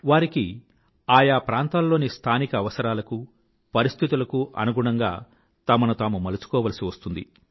వారికి ఆ యా ప్రాంతాల్లోని స్థానిక అవసరాలకూ పరిస్థితులకు అనుగుణంగా తమను తాము మలుచుకోవాల్సి వస్తుంది